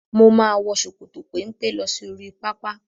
Mo máa wọ ṣòkòtò pẹ́mpẹ́ lọ sí oríi pápá.